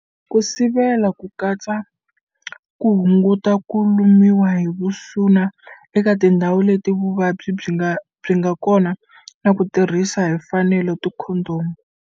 Ku sivela ku katsa ku hunguta ku lumiwa hi vusuna eka tindhawu leti vuvabyi byi nga kona na ku tirhisa hi fanelo tikhondomu.